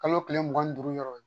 Kalo tile mugan ni duuru yɔrɔ